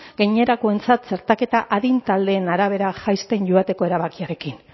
gainerakoentzat txertaketa adin taldeen arabera jaisten joateko erabakiarekin